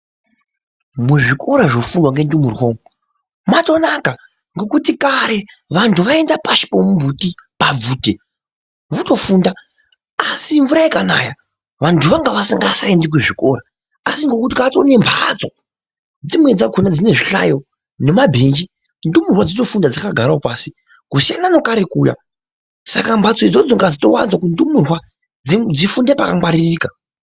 Muzvikora zvokundwa ngendumurwa umu matonaka. Ngekuti kare vantu vaienda pashi pemumbuti pabvute votofunda. Asi mvura ikanaya vantu vangasingaendi kuzvikora. Asi ngekuti kwatorine mhatso dzimweni dzakona dzine zvihlayo nemabhenji ndumurwa dzotofunda dzakagaravo pasi kusiyana nekare kuya. Saka mbatso idzodzo ngadzitovanzwa kundumurwa dzifunde pakangwaririka.